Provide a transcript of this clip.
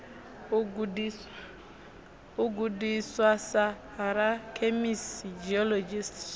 u gudiswa sa rakhemisi geologist